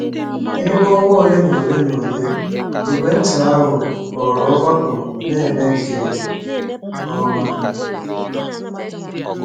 N’ime ọnwa ole na ole na ole, ìgwè nta ahụ ghọrọ ọgbakọ na-eme nke ọma.